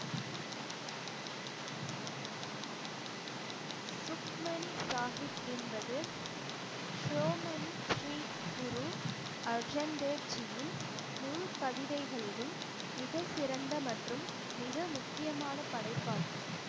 சுக்மணி சாகிப் என்பது ஷோமணி ஸ்ரீ குரு அர்ஜன் தேவ்ஜியின் முழு கவிதைகளிலும் மிகச்சிறந்த மற்றும் மிக முக்கியமான படைப்பாகும்